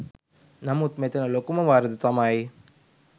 නමුත් මෙතන ලොකුම වරද තමයි